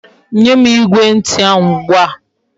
Nyem Igwe nti ahu ugbua